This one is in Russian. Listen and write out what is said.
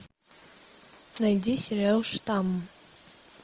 найди сериал штамм